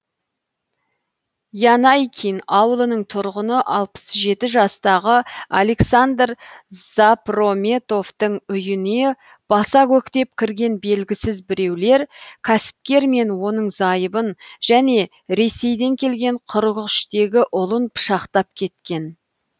янайкин ауылының тұрғыны алпыс жеті жастағы александр за про метовтің үйіне баса көктеп кірген белгісіз біреулер кәсіпкер мен оның зайыбын және ресейден келген қырық үштегі ұлын пышақтап кеткен